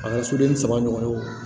A ka soden saba ɲɔgɔn